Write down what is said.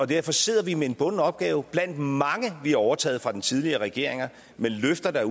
derfor sidder vi med en bunden opgave blandt mange vi har overtaget fra den tidligere regering med løfter der